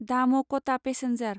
दाम' क'टा पेसेन्जार